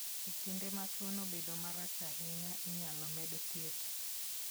E kinde ma tuono obedo marach ahinya, inyalo med thieth.